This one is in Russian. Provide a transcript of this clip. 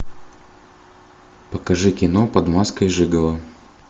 покажи кино под маской жиголо